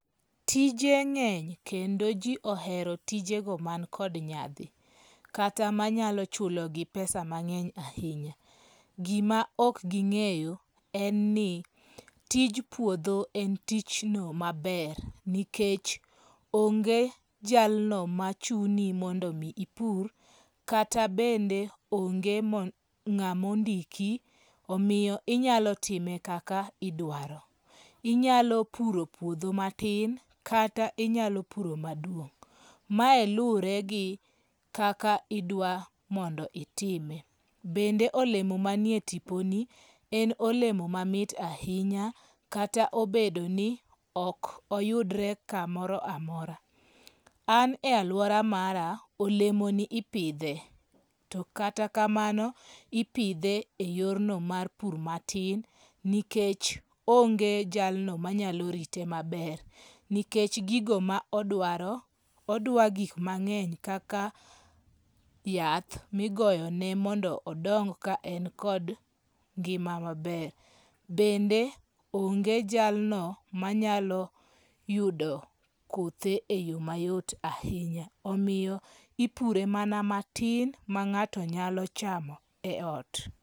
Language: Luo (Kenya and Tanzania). Tije ng'eny kendo ji ohero tijego man kod nyadhi, kata manyalo chulogi pesa mang'eny ahinya. Gima ok ging'eyo en ni, tij puodho en tijno maber nikech onge jalno machuni mondo omi ipur kata bende onge ng'amondiki omiyo inyalo time kaka idwaro. Inyalo puro puodho matin kata inyalo puro maduong'. Mae luwore gi kaka idwa mondo itime. Bende olemo manie tiponi en olemo mamit ahinya kata obedo ni ok oyudre kamoro amora. An e alwora mara, olemoni ipidhe. To kata kamano, ipidhe e yorno mar pur matin nikech onge jalno manyalo rite maber nikech gigo ma odwaro, odwa gikmang'eny kaka yath migoyone mondo odong ka en kod ngima maber. Bende onge jalno manyalo yudo kothe e yo mayot ahinya omiyo ipure mana matin ma ng'ato nyalo chamo e ot.